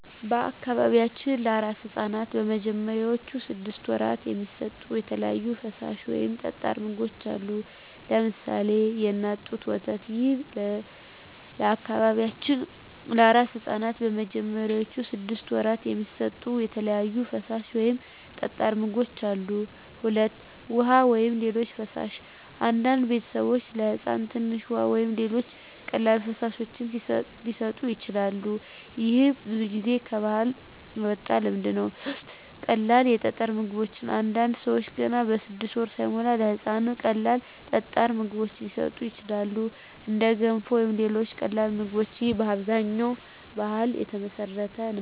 በአካባቢያችን ለአራስ ሕፃናት በመጀመሪያዎቹ ስድስት ወራት የሚሰጡ የተለያዩ ፈሳሽ ወይም ጠጣር ምግቦች አሉ። ለምሳሌ 1. የእናት ጡት ወተት ይህ ለበአካባቢያችን ለአራስ ሕፃናት በመጀመሪያዎቹ ስድስት ወራት የሚሰጡ የተለያዩ ፈሳሽ ወይም ጠጣር ምግቦች አሉ። 2. ውሃ ወይም ሌሎች ፈሳሾች አንዳንድ ቤተሰቦች ለሕፃን ትንሽ ውሃ ወይም ሌሎች ቀላል ፈሳሾች ሊሰጡ ይችላሉ። ይህ ብዙ ጊዜ ከባህል የመጣ ልማድ ነው። 3. ቀላል ጠጣር ምግቦች አንዳንድ ሰዎች ገና 6 ወር ሳይሞላ ለሕፃን ቀላል ጠጣር ምግቦች ሊሰጡ ይችላሉ፣ እንደ ገንፎ ወይም ሌሎች ቀላል ምግቦች። ይህም በአብዛኛው በባህል የተመሠረተ ነው።